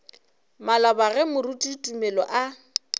maloba ge moruti tumelo a